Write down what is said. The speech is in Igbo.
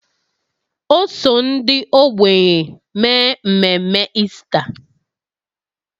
O so ndị ogbenye mee mmemme Ista